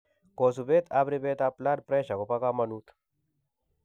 Kosubet ab ribeet ab blood pressure kobo kamanut